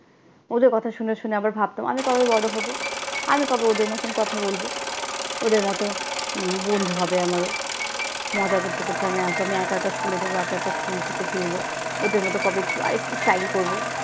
ওদের কথা শুনে শুনে আবার ভাবতাম আমি কবে বড়ো হবো? আমি কবে ওদের মতন কথা বলব? ওদের মতো বন্ধু হবে আমারও, মজা করতে করতে আমি আসবো, আমি একা একা স্কুলে যাবো, একা একা স্কুল থেকে ফিরবো, ওদের মতো কবে একটু আরেকটু style করবো।